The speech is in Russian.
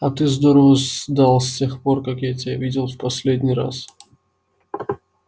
а ты здорово сдал с тех пор как я тебя видел в последний раз